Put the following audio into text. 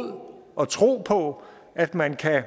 og manglende tro på at man kan